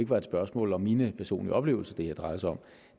var et spørgsmål om mine personlige oplevelser det her drejede sig om